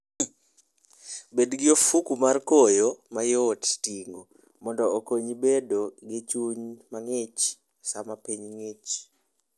Bed gi ofuko mar koyo mayot ting'o mondo okonyi bedo gi chuny mang'ich sama piny ng'ich.